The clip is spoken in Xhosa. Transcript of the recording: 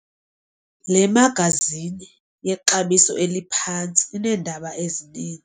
Le magazini yexabiso eliphantsi ineendaba ezinin.